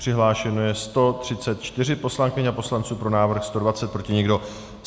Přihlášeno je 134 poslankyň a poslanců, pro návrh 120, proti nikdo.